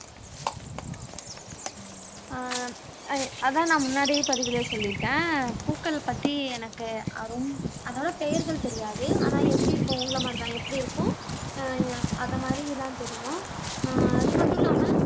ஆஹ் அதான் நான் முன்னாடியே பதிவுல சொல்லிட்டேன் பூக்கள் பத்தி எனக்கு அஹ் ரொம் அதோட பெயர்கள் தெரியாது ஆனா எப்படி இருக்கும் உங்கள மாதிரிதான் எப்படி இருக்கும் அஹ் அந்த மாதிரிதான் தெரியும் ஆஹ் அது மட்டும் இல்லாமல்